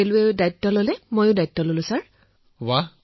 ৰেলৱেও এই দায়িত্ব গ্ৰহণ কৰিছিল মইও এই দায়িত্ব গ্ৰহণ কৰিছিলো মহোদয়